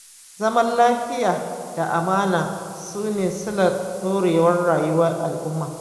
Zaman lafiya da amana su ne silar ɗorewar rayuwar al'umma.